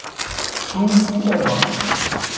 Trú þú og vak.